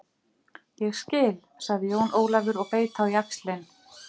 Ég skil, sagði Jón Ólafur og beit á jaxlinn.